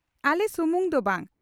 ᱟᱞᱮ ᱥᱩᱢᱩᱝ ᱫᱚ ᱵᱟᱝᱟ